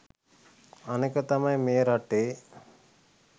අනෙක තමයි මේ රටේ